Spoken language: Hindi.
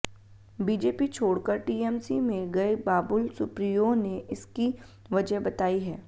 बीजेपी छोड़कर टीएमसी में गए बाबुल सुप्रियो ने इसकी वजह बताई है